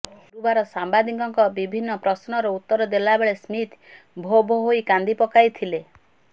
ଗୁରୁବାର ସାମ୍ବାଦିକଙ୍କ ବିଭିନ୍ନ ପ୍ରଶ୍ନର ଉତ୍ତର ଦେଲା ବେଳେ ସ୍ମିଥ୍ ଭୋ ଭୋ ହୋଇ କାନ୍ଦି ପକାଇଥିଲେ